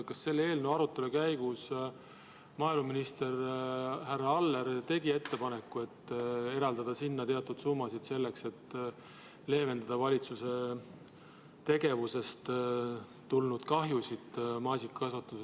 Kas selle eelnõu arutelu käigus maaeluminister härra Aller tegi ettepaneku eraldada sinna teatud summa selleks, et leevendada maasikakasvatuses valitsuse tegevusest tulenenud kahju?